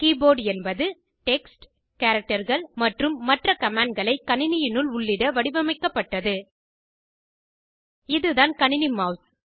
keyboard என்பது text கேரக்டர்கள் மற்றும் மற்ற கமேண்டுகளை கணினியினுள் உள்ளிட வடிவமைக்கப்பட்டது இதுதான் கணினி மெளஸ்